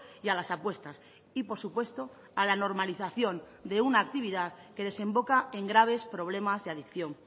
y a las apuestas y por supuesto a la normalización de una actividad que desemboca en graves problemas de adicción